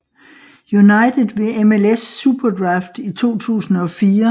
United ved MLS SuperDraft i 2004